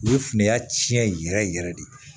U ye finaniya tiɲɛ yɛrɛ yɛrɛ yɛrɛ de